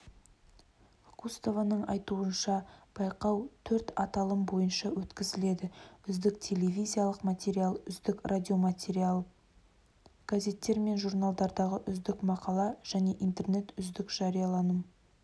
лоскутованың айтуынша байқау төрт аталым бойынша өткізіледі үздік телевизиялық материал үздік радиоматериал газеттер мен журналдардағы үздік мақала және интернет үздік жарияланым